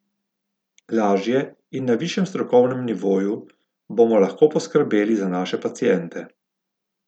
Lažje in na višjem strokovnem nivoju bomo lahko poskrbeli za naše paciente.